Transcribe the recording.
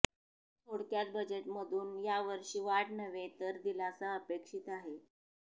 थोडक्यात बजेटमधून यावर्षी वाढ नव्हे तर दिलासा अपेक्षित आहे